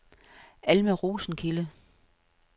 Alma Rosenkilde